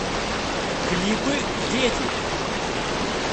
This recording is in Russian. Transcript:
клипы дети